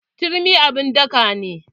Turmi abun daka ne.